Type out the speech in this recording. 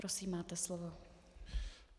Prosím, máte slovo.